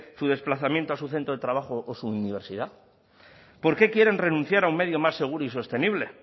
su desplazamiento a su centro de trabajo o su universidad por qué quieren renunciar a un medio más seguro y sostenible